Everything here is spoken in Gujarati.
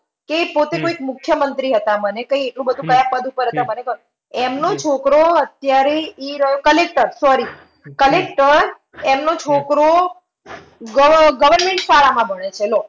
કે પોતે કોઈ મુખ્યમંત્રી હતા મને કંઈ એટલું બધું કયા પદ ઉપર હતા મને ખ, એમનો છોકરો અત્યારે ઈ આહ collector sorry collector એમનો છોકરો ગવ આહ government શાળામાં ભણે છે લો.